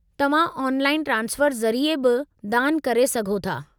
तव्हां online transfer ज़रिए बि दानु करे सघो था।